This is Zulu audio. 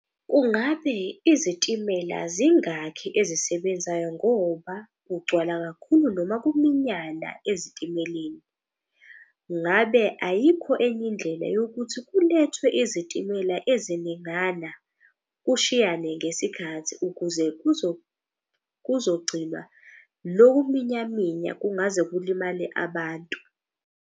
Kungabe izitimela zingakhi ezisebenzayo ngoba kugcwala kakhulu noma kuminyana ezitimeleni? Ngabe ayikho enye indlela yokuthi kulethwe izitimela eziningana, kushiyane ngesikhathi ukuze kuzogcina loku minya minya kungaze kulimale abantu?